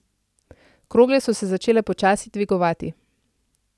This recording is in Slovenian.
Krogle so se začele počasi dvigovati.